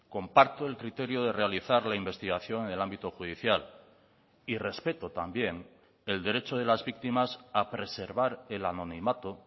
comparto el criterio de realizar la investigación en el ámbito judicial y respeto también el derecho de las víctimas a preservar el anonimato